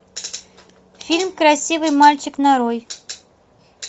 фильм красивый мальчик нарой